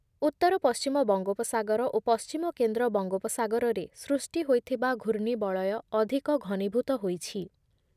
ଉତ୍ତର ପଶ୍ଚିମ ବଙ୍ଗୋପସାଗର ଓ ପଶ୍ଚିମ କେନ୍ଦ୍ର ବଙ୍ଗୋପସାଗରରେ ସୃଷ୍ଟି ହୋଇଥିବା ଘୂର୍ଣ୍ଣିବଳୟ ଅଧିକ ଘନୀଭୂତ ହୋଇଛି ।